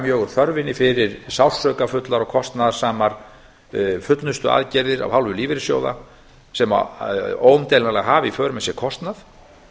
mjög úr þörfinni fyrir sársaukafullar og kostnaðarsamar fullnustuaðgerðir af hálfu lífeyrissjóða sem óumdeilanlega hafa í för með sér kostnað